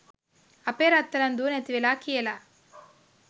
අපේ රත්තරන් දුව නැතිවෙලා කියලා